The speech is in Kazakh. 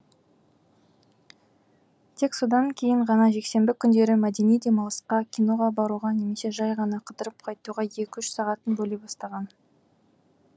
тек содан кейін ғана жексенбі күндері мәдени демалысқа киноға баруға немесе жай ғана қыдырып қайтуға екі үш сағатын бөле бастаған